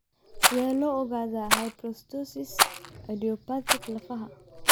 Sidee loo ogaadaa hyperostosis idiopathic lafaha?